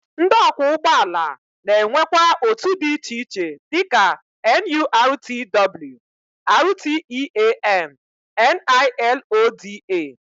Ndị ọkwọụgbọala na-enwekwa otu dị iche iche dịka NURTW, RTEAN, NILODA